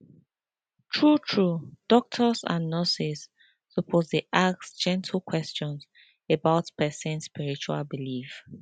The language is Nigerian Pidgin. true true doctors and nurses suppose dey ask gentle questions about person spiritual belief